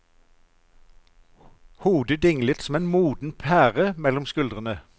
Hodet dinglet som en moden pære mellom skuldrene.